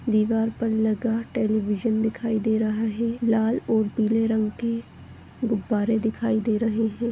दीवार पर लगा टेलीविज़न दिखाई दे रहा है लाल और पीले रंग के गुब्बारे दिखाई गए है।